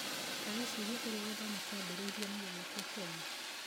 Ta wĩcirie ũrĩa gĩthomo kĩambĩrĩirio na gĩgĩkwo Kenya.